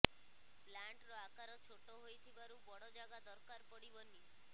ପ୍ଲାଣ୍ଟର ଆକାର ଛୋଟ ହୋଇଥିବାରୁ ବଡ଼ ଜାଗା ଦରକାର ପଡ଼ିବନି